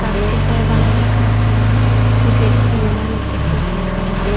ekkan jin piy baniy d karkhana pijedi dibi manuje bojiney ham gotton.